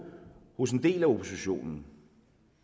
hos en del af oppositionen